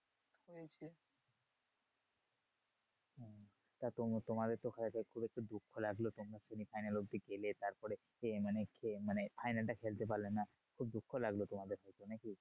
তা তোমা তোমাদের তো হয়তো খুব একটু দুঃখ লাগলো তোমরা semi final অব্ধি গেলে। তারপরে মানে final টা খেলতে পারলে না। খুব দুঃখ লাগলো তোমাদের নাকি?